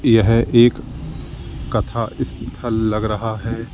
यह एक कथा स्थल लग रहा है।